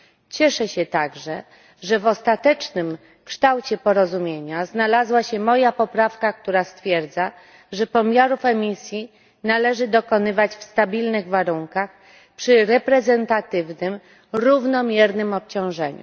Cieszę się także, że w ostatecznym kształcie porozumienia znalazła się moja poprawka, która stwierdza, że pomiarów emisji należy dokonywać w stabilnych warunkach przy reprezentatywnym, równomiernym obciążeniu.